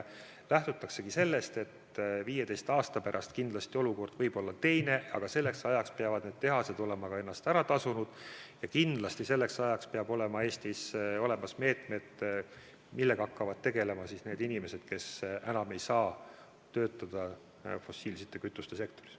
Lähtutakse sellest, et 15 aasta pärast võib olukord olla teine, aga selleks ajaks peavad need tehased olema ennast ära tasunud, ja kindlasti peavad selleks ajaks Eestis olema võetud meetmed, et oleks selge, millega hakkavad tegelema need inimesed, kes enam ei saa töötada fossiilsete kütuste sektoris.